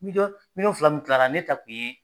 Miliyɔn fila min tilara ne ta tun ye